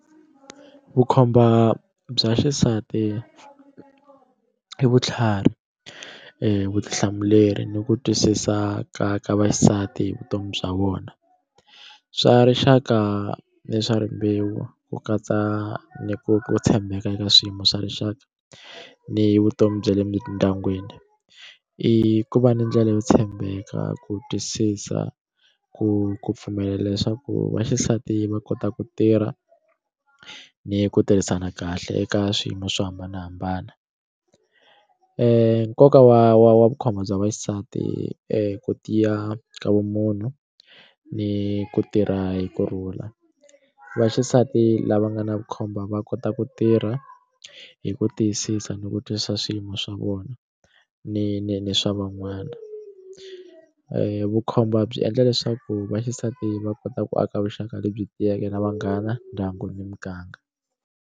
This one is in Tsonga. Vukhomba bya xisati i vutlhari vutihlamuleri ni ku twisisa ka ka vaxisati hi vutomi bya vona swa rixaka ni swa rimbewu ku katsa ni ku tshembeka eka swiyimo swa rixaka ni vutomi bya le mindyangwini i ku va ni ndlela yo tshembeka ku twisisa ku ku pfumela leswaku vaxisati va kota ku tirha ni ku tirhisana kahle eka swiyimo swo hambanahambana nkoka wa wa wa vukhomba bya vaxisati ku tiya ka vumunhu ni ku tirha hi ku rhula vaxisati lava nga na vukhombo va kota ku tirha hi ku tiyisisa ni ku twisisa swiyimo swa vona ni ni ni swa van'wana vukhomba byi endla leswaku vaxisati va kota ku aka vuxaka lebyi tiyeke na vanghana ndyangu ni muganga.